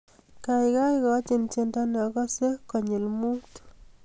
Gaigai igochii tyendo neogase kogelik muut